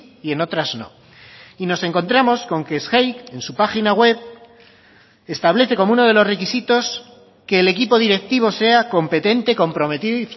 y en otras no y nos encontramos con que sgeic en su página web establece como uno de los requisitos que el equipo directivo sea competente comprometido